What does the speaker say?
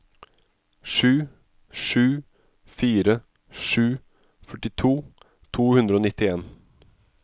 sju sju fire sju førtito to hundre og nittien